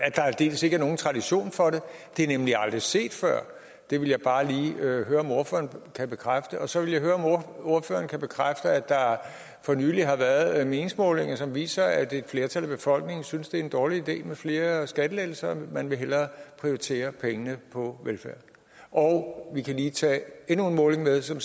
at der aldeles ikke er nogen tradition for det det er nemlig aldrig set før det vil jeg bare lige høre om ordføreren kan bekræfte og så vil jeg høre om ordføreren kan bekræfte at der for nylig har været meningsmålinger som viste at et flertal af befolkningen synes at det er en dårlig idé med flere skattelettelser man vil hellere prioritere pengene på velfærd og vi kan lige tage endnu en måling med som